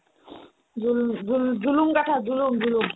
জোল ~ জোল জুলুম গাথা জুলুম জুলুম